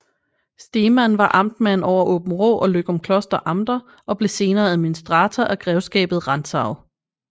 Stemann var amtmand over Aabenraa og Løgumkloster Amter og blev senere administrator af Grevskabet Rantzau